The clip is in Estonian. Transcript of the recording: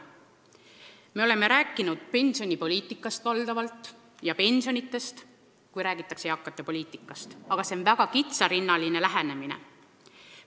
Me oleme eakate poliitikast rääkides pidanud silmas valdavalt pensionipoliitikat ja pensione, aga see on väga kitsarinnaline lähenemine.